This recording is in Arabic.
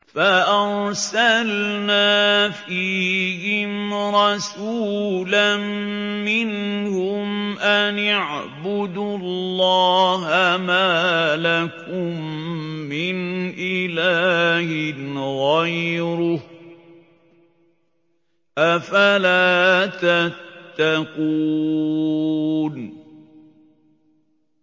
فَأَرْسَلْنَا فِيهِمْ رَسُولًا مِّنْهُمْ أَنِ اعْبُدُوا اللَّهَ مَا لَكُم مِّنْ إِلَٰهٍ غَيْرُهُ ۖ أَفَلَا تَتَّقُونَ